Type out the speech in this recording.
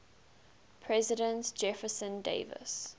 president jefferson davis